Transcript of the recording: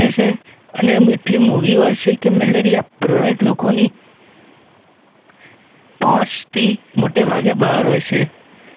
અને મીઠલીમૂવી હોય છે કે મલેરિયા પ્રભાવિત લોકોની પહોંચથી મોટેભાગે બહાર હોય છે